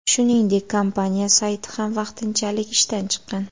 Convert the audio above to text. Shuningdek, kompaniya sayti ham vaqtinchalik ishdan chiqqan.